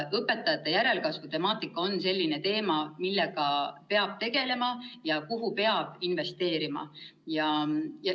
Õpetajate järelkasvu probleem on selline teema, millega peab tegelema ja kuhu peab investeerima.